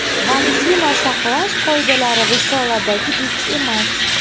Vaksina saqlash qoidalari risoladagidek emas.